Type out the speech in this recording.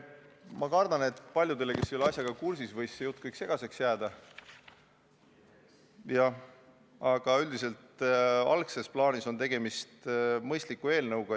Ma kardan, et paljudele, kes ei ole asjaga kursis, võis kogu see jutt segaseks jääda, aga üldiselt on tegemist mõistliku eelnõuga.